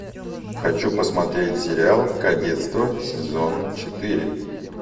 хочу посмотреть сериал кадетство сезон четыре